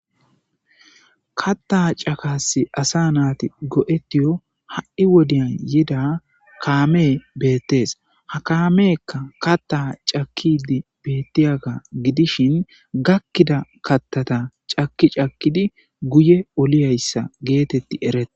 katta cakasi asa naati go7etiyo ha7i wodiyan yida kaame beettes ha kaamekka katta cakidi bettiyaga gidishin gakkida kattata caki cakkidi guye oliyayssa geetetti erete